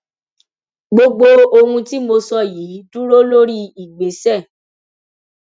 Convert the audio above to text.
gbogbo ohun tí mo sọ yìí dúró lórí ìgbésẹ